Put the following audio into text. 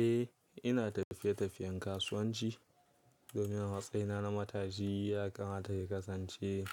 Eh ina tafiye-tafiyen kasuwanci domin a matsayina na matashi ya kamata ya kasance